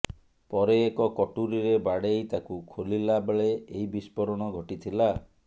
ପରେ ଏକ କଟୁରୀରେ ବାଡେଇ ତାକୁ ଖୋଲିଲା ବେଳେ ଏହି ବସ୍ଫୋରଣ ଘଟିଥିଲା